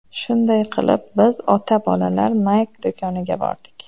Shunday qilib biz ota-bolalar Nike do‘koniga bordik.